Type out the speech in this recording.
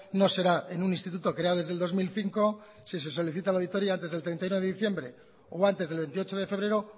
no será en un instituto creado desde el dos mil cinco si se solicita la auditoria antes del treinta y uno de diciembre o antes del veintiocho de febrero